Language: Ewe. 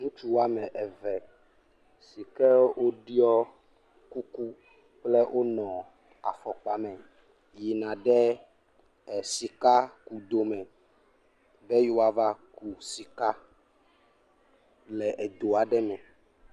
Ŋutsu woame eve si ke woɖiɔ kuku kple wonɔ afɔkpa me yina ɖe sikakudome be yewoava ku sika le edo aɖe me.